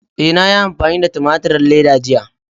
E, na yi amfani da tumaturin leda jiya.